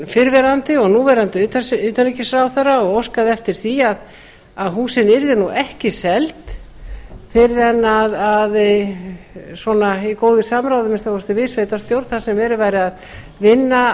fyrrverandi og núverandi utanríkisráðherra og óskað eftir því að húsin yrðu ekki seld fyrr en svona í góðu samráði að minnsta kosti við sveitarstjórn þar sem verið væri að vinna